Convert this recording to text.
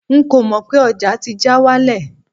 nko mọ pé ọja ti já walẹ